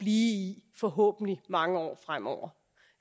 i forhåbentlig mange år fremover